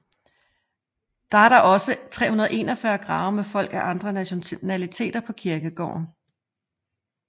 Der er Der er også 341 grave med folk af andre nationaliteter på kirkegården